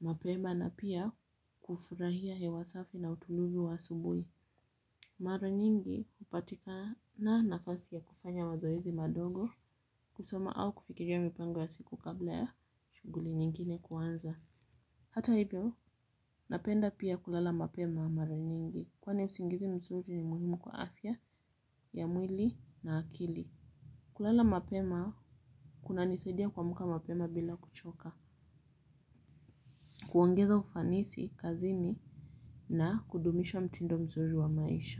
mapema na pia kufurahia hewa safi na utuluvi wa subuhi. Mara nyingi hupata nafasi ya kufanya wazoezi madogo kusoma au kufikiria mpango ya siku kabla ya shughuli nyingine kuanza. Hata hivyo, napenda pia kulala mapema mara nyingi, kwani usingizi mzuri ni muhimu kwa afya ya mwili na akili. Kulala mapema kunanisaidia kuamka mapema bila kuchoka. Kuongeza ufanisi kazini na kudumisha mtindo mzuri wa maisha.